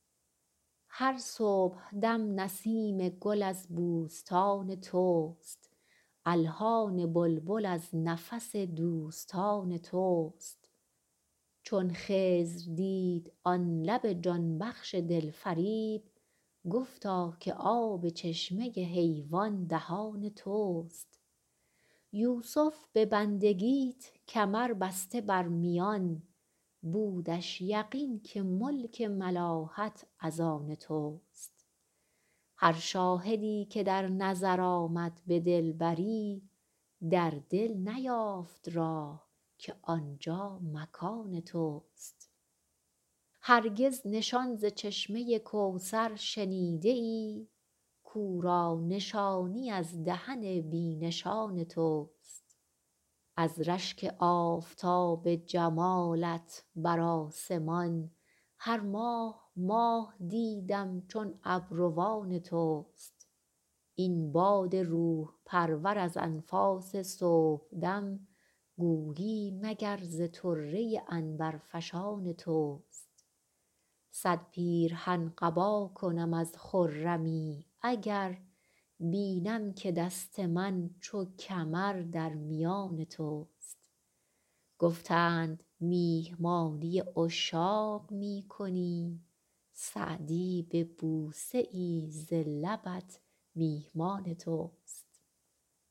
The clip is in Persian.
هر صبحدم نسیم گل از بوستان توست الحان بلبل از نفس دوستان توست چون خضر دید آن لب جان بخش دلفریب گفتا که آب چشمه حیوان دهان توست یوسف به بندگیت کمر بسته بر میان بودش یقین که ملک ملاحت از آن توست هر شاهدی که در نظر آمد به دلبری در دل نیافت راه که آنجا مکان توست هرگز نشان ز چشمه کوثر شنیده ای کاو را نشانی از دهن بی نشان توست از رشک آفتاب جمالت بر آسمان هر ماه ماه دیدم چون ابروان توست این باد روح پرور از انفاس صبحدم گویی مگر ز طره عنبرفشان توست صد پیرهن قبا کنم از خرمی اگر بینم که دست من چو کمر در میان توست گفتند میهمانی عشاق می کنی سعدی به بوسه ای ز لبت میهمان توست